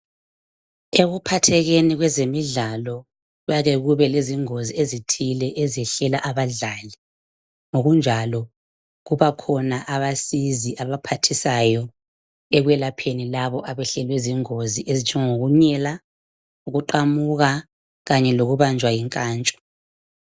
Ekuphathekeni kwezemidlalo kuyake kube lezingozi ezithile ezehlela abadlali. Ngokunjalo kubakhona abasizi abaphathisayo ekwelapheni labo abahlelwe zingozi .Ezinjengoku nyela ,ukuqamuka Kanye lokubanjwa yinkantsho.